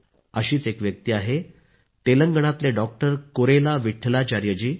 अशीच एक व्यक्ती आहे तेलंगणाचे डॉक्टर कुरेला विट्ठलाचार्य जी